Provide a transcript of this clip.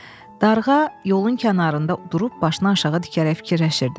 Darğa yolun kənarında durub başını aşağı dikərək fikirləşirdi.